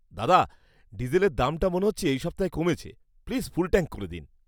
দাদা, ডিজেলের দামটা মনে হচ্ছে এই সপ্তাহে কমেছে। প্লিজ ফুল ট্যাঙ্ক করে দিন।